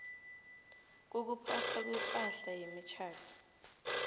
kokuphathwa kwepahla yemitjhado